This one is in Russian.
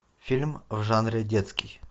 фильм в жанре детский